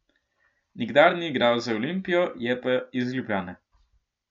Nikdar ni igral za Olimpijo, je pa iz Ljubljane.